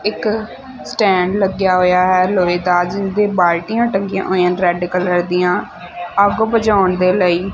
ਇੱਕ ਸਟੈਂਡ ਲੱਗਿਆ ਹੋਯਾ ਹੈ ਲੋਹੇ ਦਾ ਜਿਹਨਾਂ ਤੇ ਬਾਲਟੀਆਂ ਟੰਗੀਆਂ ਹੋਈਆਂ ਰੈੱਡ ਕਲਰ ਦੀਆਂ ਅੱਗ ਬੁਝਾਉਣ ਦੇ ਲਈ।